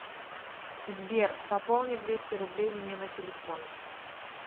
сбер пополни двести рублей мне на телефон